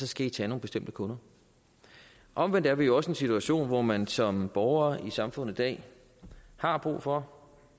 skal tage nogle bestemte kunder omvendt er vi jo også i en situation hvor man som borger i samfundet i dag har brug for